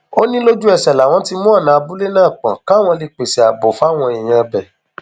ó ní lójúẹsẹ làwọn ti mú ọnà abúlé náà pọn káwọn lè pèsè ààbò fáwọn èèyàn ibẹ